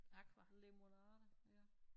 Lemonada ja